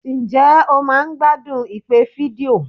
Ǹjẹ́ o máa ń gbádùn ìpè fídíò?